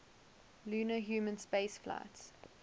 lunar human spaceflights